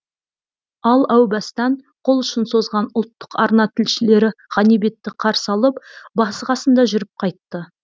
ал әу бастан қолұшын созған ұлттық арна тілшілері ғанибетті қарсы алып басы қасында жүріп қайтты